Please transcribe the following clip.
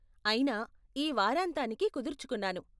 అయినా, ఈ వారాంతానికి కుదుర్చుకున్నాను.